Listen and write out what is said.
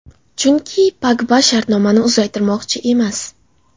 Chunki Pogba shartnomani uzaytirmoqchi emas.